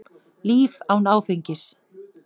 Líf án áfengis.